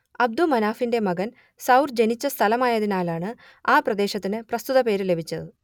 അബ്ദുമനാഫിന്റെ മകൻ സൌർ ജനിച്ച സ്ഥലമായതിനാലാണ് ആ പ്രദേശത്തിന് പ്രസ്തുത പേര് ലഭിച്ചത്